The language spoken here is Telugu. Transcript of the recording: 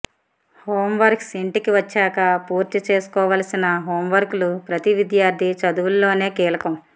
హోంవర్క్స్ ఇంటికి వచ్చాక పూర్తిచేసుకోవాల్సిన హోంవర్కులు ప్రతి విద్యార్థి చదువ్ఞలోనూ కీలకం